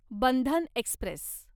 Bandhan Express